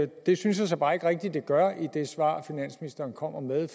det synes jeg så bare ikke rigtig at det gør i det svar finansministeren kommer med